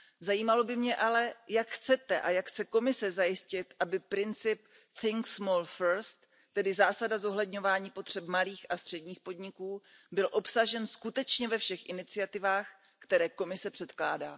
Zajímalo by mě ale, jak chcete a jak chce Komise zajistit, aby princip Think Small First tedy zásada zohledňování potřeb malých a středních podniků, byl obsažen skutečně ve všech iniciativách, které Komise předkládá.